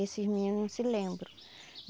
Esses meninos não se lembram.